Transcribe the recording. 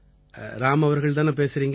ராம் அவர்கள் தானே பேசறீங்க